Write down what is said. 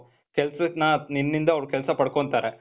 ನಿನ್ನಿಂದ ಅವ್ರು ಕೆಲ್ಸ ಪಡ್ಕೊಂತಾರೆ.